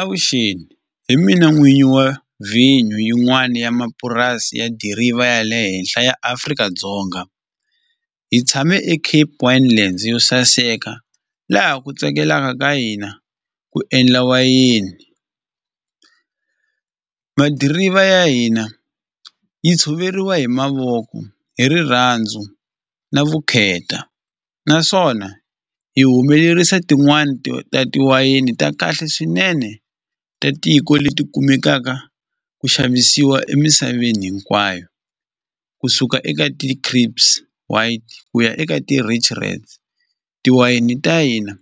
Avuxeni hi mina n'winyi wa vhinyo yin'wana ya mapurasi ya diriva ya le henhla ya Afrika-Dzonga hi tshame Cape wine land yo saseka laha ku tsakelaka ka hina ku endla wayini madiriva ya hina yi tshoveriwa hi mavoko hi rirhandzu na vukheta naswona hi humelerisa tin'wani tiwayini ta kahle swinene ta tiko leti kumekaka ku xavisiwa emisaveni hinkwayo kusuka eka white ku ya eka ti-rich tiwayini ta hina